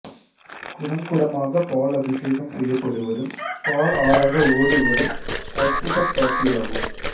குடங்குடமாகப் பால் அபிஷேகம் செய்யப்படுவதும் பால் ஆறாக ஓடுவதும் அற்புதக் காட்சியாகும்